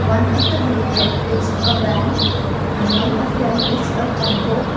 one of the vehicle is a van and one of them is a tempo.